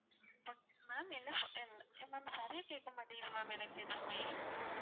ma'am என்ன சொன்னீ~ ma'am சரியா கேட்கமாட்டிது ma'am எனக்கு எதுவுமே